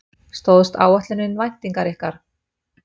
Stóðst áætlunin væntingar ykkar?